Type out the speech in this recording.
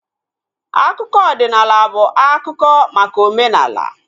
Akụkọ ọdịnala bụ akụkọ maka omenala